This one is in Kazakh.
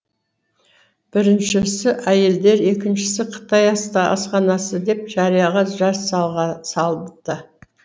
біріншісі әйелдер екіншісі қытай асханасы деп жарияға жар салыпты